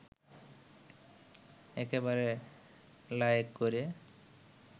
একেবারে লায়েক করে